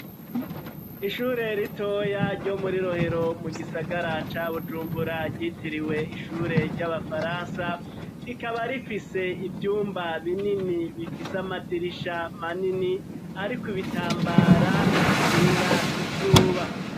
Ishure ritoya ryo muri rohero mu gisagaraca bujumbura ryitiriwe ishure ry'abafaransa rikaba rifise ivyumba binini bifise amadirisha manini ariko ibitambara bikinga inzuba.